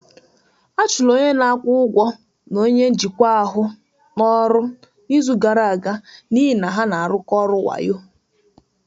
A chụrụ onye na-akwụ ụgwọ na onye njikwa ahụ n'ọrụ n'izu gara aga n'ihi na ha na-arụkọ ọrụ wayo